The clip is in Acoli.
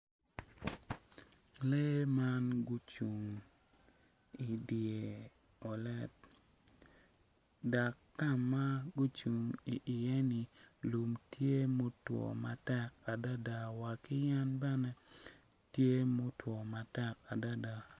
Lee man gucung i dye poto dok ka ma gucung i ye ni lum tye ma otwo matek wa adadaki yen bene tye ma otwo matek adada.